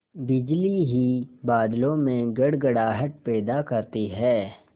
बिजली ही बादलों में गड़गड़ाहट पैदा करती है